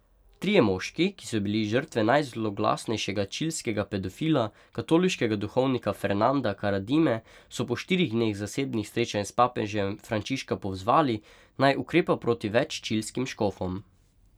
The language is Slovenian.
Trije moški, ki so bili žrtve najzloglasnejšega čilskega pedofila, katoliškega duhovnika Fernanda Karadime, so po štirih dneh zasebnih srečanj s papežem Frančiška pozvali, naj ukrepa proti več čilskim škofom.